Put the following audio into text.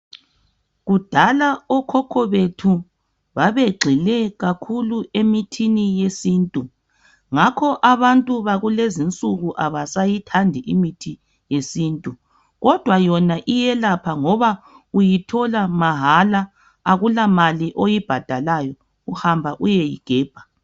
Kudala okhokho bethu babegxile kakhulu emithini yesintu ngakho abantu bakulezinsuku abasayithandi imithi yesintu. Kodwa toma iyelapha ngoba uyithola mahala akulamali oyibhadalayo uhamba uyeyigebha.